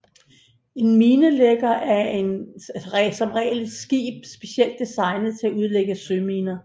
En minelægger er som regel et skib specielt designet til at udlægge søminer